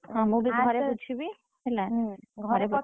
ହଁ ମୁଁ ବି ଘରେ ବୁଝିବି ହେଲା ।